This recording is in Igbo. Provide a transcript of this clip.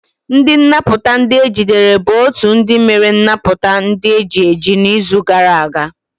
Ndi nnaputa ndi ejidere bụ otu ndị mere nnapụta ndị eji eji n'izu gara aga.